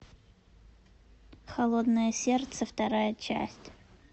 холодное сердце вторая часть